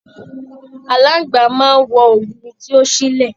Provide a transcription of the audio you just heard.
Aláàngbá máa n wọ ògiri tí o sílẹ.